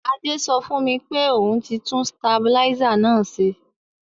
Adé so fùn mi pe oun ti tun stabilizer náà se